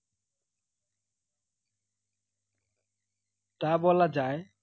তা বলা যায়